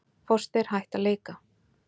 Foster hætt að leika